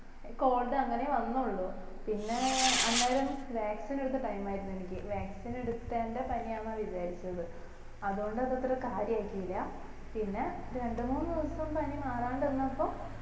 cold അങ്ങനെ വന്നുള്ളൂ പിന്നെ അന്നേരം vaccine എടുത്ത time ആർന്നു എനിക്ക് vaccine എടുത്തെന്റെ പനി ആണാ വിചാരിച്ചത് അതോണ്ട് അത് അത്ര കാര്യാക്കില പിന്നെ രണ്ടു മൂന്ന് ദിവസം പനി മാറാണ്ട് നിന്നപ്പം